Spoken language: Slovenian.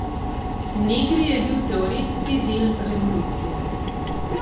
Negri je bil teoretski del revolucije.